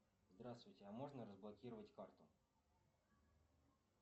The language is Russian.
здравствуйте а можно разблокировать карту